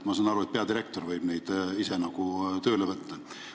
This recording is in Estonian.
Ma saan aru, et peadirektor võib neid ise tööle võtta.